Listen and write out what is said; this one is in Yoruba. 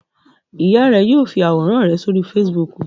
Ìyá rẹ yóò fi àwòrán rẹ sórí Facebook.